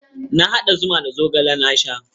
Na haɗa zuma da zogale na sha.